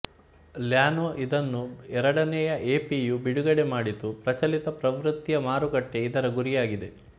Llano ಇದನ್ನು ಎರಡನೇ APU ಬಿಡುಗಡೆ ಮಾಡಿತು ಪ್ರಚಲಿತ ಪ್ರವೃತ್ತಿಯ ಮಾರುಕಟ್ಟೆ ಇದರ ಗುರಿಯಾಗಿದೆ